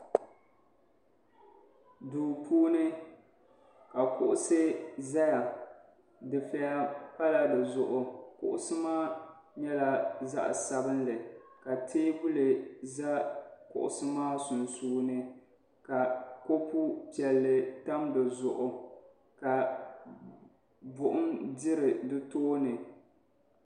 Duu puuni ka kuɣusi ʒɛya dufɛya pala dizuɣu kuɣusi maa nyɛla zaɣ'sabinli ka teebuli ʒɛ kuɣusi maa sunsuuni ka kopu piɛlli tam di zuɣu ka buɣum diri di tooni